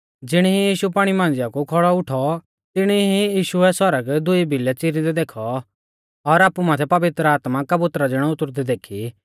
ज़िणी ई यीशु पाणी मांझ़िआ कु खौड़ौ उठौ तिणी ई यीशुऐ सौरग दुई भिलै च़ीरिंदै देखौ और आपु माथै पवित्र आत्मा कबुतरा ज़िणौ उतुरदै देखी